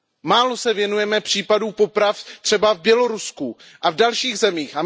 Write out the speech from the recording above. Málo se věnujeme případům poprav třeba v Bělorusku a v dalších zemích.